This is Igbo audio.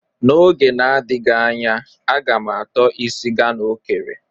N'oge na-adịghị anya,a ga m ato isi Ghana o kere.